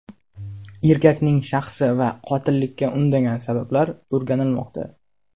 Erkakning shaxsi va qotillikka undagan sabablar o‘rganilmoqda.